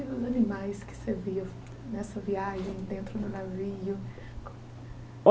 E os animais que você via nessa viagem, dentro do navio?